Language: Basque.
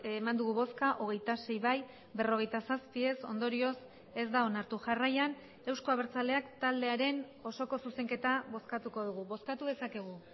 eman dugu bozka hogeita sei bai berrogeita zazpi ez ondorioz ez da onartu jarraian euzko abertzaleak taldearen osoko zuzenketa bozkatuko dugu bozkatu dezakegu